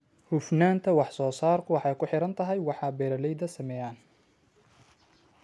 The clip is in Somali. Hufnaanta wax-soo-saarku waxay ku xidhan tahay waxa beeralaydu sameeyaan.